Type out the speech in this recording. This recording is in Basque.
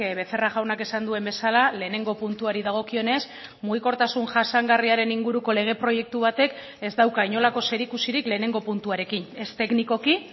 becerra jaunak esan duen bezala lehenengo puntuari dagokionez mugikortasun jasangarriaren inguruko lege proiektu batek ez dauka inolako zerikusirik lehenengo puntuarekin ez teknikoki